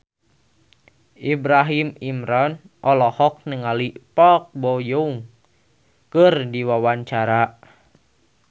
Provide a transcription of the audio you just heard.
Ibrahim Imran olohok ningali Park Bo Yung keur diwawancara